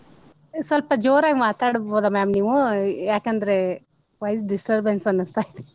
ಸ್ವಲ್ಪ ಜೋರಾಗಿ ಮಾತಾಡಬಹುದ ma'am ನೀವು ಯಾಕಂದ್ರೆ voice disturbance ಅನ್ಸತೈತಿ .